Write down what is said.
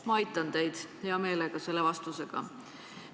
Ma aitan teid hea meelega selle vastusega.